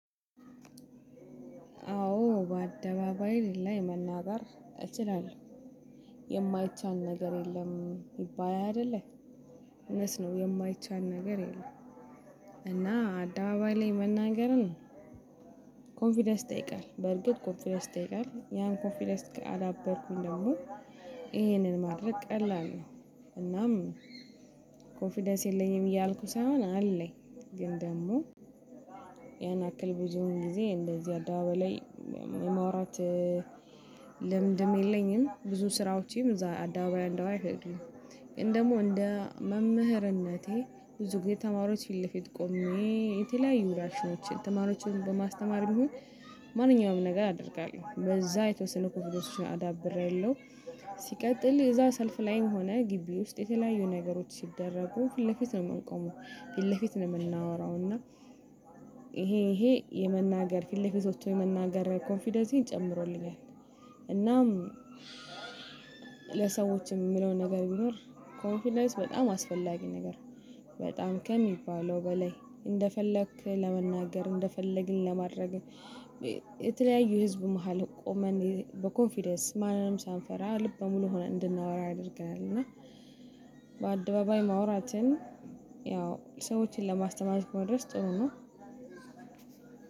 አዎ በአደባባይ ላይ መናገር እችላለሁ። የማይቻል ነገር የለም ይባል አይደለ እውነት ነው የማይቻል ነገር የለም። እና አደባባይ ላይ መናገርን ኮንፊደንስ ይጠይቃል በርግጥ ኮንፊደንስ ይጠይቃል ያን ኮንፊደንስ ካዳበርኩኝ ደግሞ። ይሄንን ማድረግ ቀላል ነው። እናም ኮንፊደንስ የለኝም እያልኩ ሳይሆን አለኝ። ግን ደግሞ ያን ያክል ብዙ ጊዜ እንደዚህ አደባባይ ላይ የማውራት ልምድም የለኝም ብዙ ስራዎቼም እዛ አደባባይ እንደው አይፈልግም። ግን ደግሞ እንደ መምህርነቴ ብዙ ጊዜ ተማሪዎች ፊት ለፊት ቆሜ የተለያዩ ራሾችን ተማሪዎችን በማስተማር ቢሆን ማንኛውም ነገር አደርጋለሁ። በዛ የተወሰነ ኮንፊደንስ አዳብሬ አለው። ሲቀጥል የዛ ሰልፍ ላይም ሆነ ግቢ ውስጥ የተለያዩ ነገሮች ሲደረጉ ፊት ለፊት ነው የምንቆመው ፊት ለፊት ነው የምናወራው። እና ይሄ ይሄ የመናገር ፊት ለፊት ወጥቶ የመናገር ኮንፊደንሴን ጨምሮልኛል። እናም ለሰዎችም የምለውን ነገር ቢኖር ኮንፊደንስ በጣም አስፈላጊ ነገር። በጣም ከሚባለው በላይ እንደፈለክ ለመናገር እንደፈለግን ለማድረግ። የተለያዩ ህዝብ መሃል ቆመን በኮንፊደንስ ማንም ሳንፈራ ልበሙሉ ሆነ እንድናወራ ያደርገናል። እና በአደባባይ ማውራትን ያው ሰዎችን ለማስተማር እስከሆነ ድረስ ጥሩ ነው።